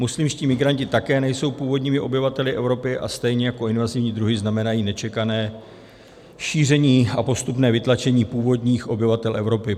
Muslimští migranti také nejsou původními obyvateli Evropy a stejně jako invazivní druhy znamenají nečekané šíření a postupné vytlačení původních obyvatel Evropy.